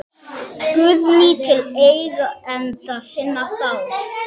Guðný: Til eigenda sinna þá?